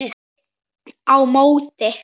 Á móti